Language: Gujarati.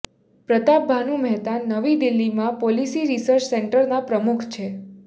પ્રતાપ ભાનુ મહેતાન નવી દિલ્હીમાં પોલીસી રીસર્ચ સેન્ટરના પ્રમુખ છે